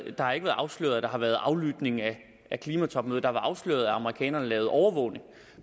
har ikke været afsløret at der har været aflytning af klimatopmødet det er afsløret at amerikanerne lavede overvågning